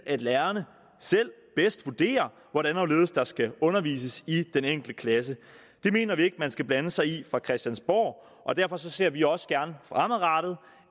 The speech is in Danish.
at lærerne selv bedst vurderer hvordan og hvorledes der skal undervises i den enkelte klasse det mener vi ikke man skal blande sig i fra christiansborgs og derfor ser vi også gerne